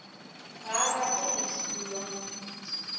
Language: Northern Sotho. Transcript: ga a rate go dulwa